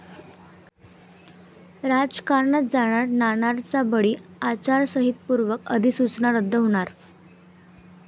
राजकारणात जाणार 'नाणार'चा बळी, आचारसंहितेपूर्वी अधिसूचना रद्द होणार!